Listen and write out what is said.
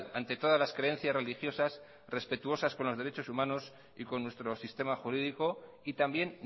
ante todas las creencias religiosas respetuosas con los derecho humanos y con nuestro sistema jurídico y también